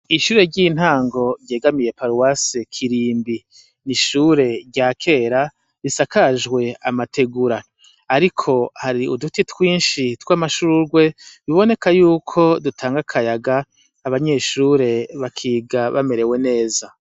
Ishure ry'intango ryegamiye paruwase Kirimbi ni ishure rya kera risakajwe amategura ariko hari uduti twinshi tw'amashurwe biboneka yuko dutanga akayaga, abanyeshure bakiga bamerewe neza.